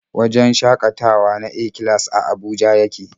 Wajen shakatawa na A-class a Abuja yake.